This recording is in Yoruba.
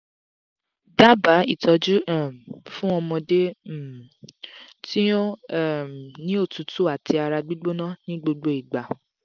daba itọju um fun ọmọde um ti o n um ni otutu ati ara gbigbona ni gbogbo igba